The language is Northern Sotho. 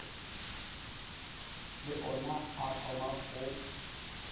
le ona a thoma go